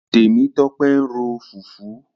Tẹ̀mítọ́pẹ́ ń ro fùfú.